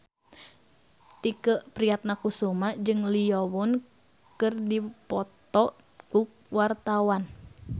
Tike Priatnakusuma jeung Lee Yo Won keur dipoto ku wartawan